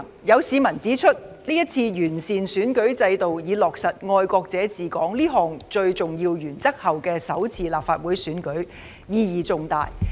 有市民指出，這是完善選舉制度以落實"愛國者治港"這項最重要的原則後的首次立法會選舉，意義重大。